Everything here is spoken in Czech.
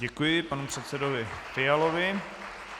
Děkuji panu předsedovi Fialovi.